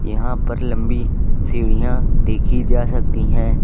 यहां पर लंबी सीढ़ियां देखी जा सकती हैं।